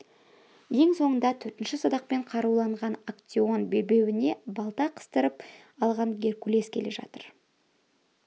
ең соңында төртінші садақмен қаруланған актеон белбеуіне балта қыстырып алған геркулес келе жатыр